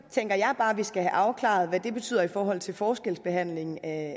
tænker jeg bare at vi skal have afklaret hvad det betyder i forhold til forskelsbehandling af